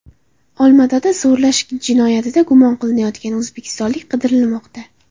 Olmaotada zo‘rlash jinoyatida gumon qilinayotgan o‘zbekistonlik qidirilmoqda.